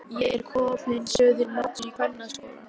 Ég er kominn suður á móts við kvennaskólann.